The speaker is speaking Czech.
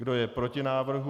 Kdo je proti návrhu?